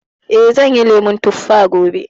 Eh, zan yi lemun tuffa gobe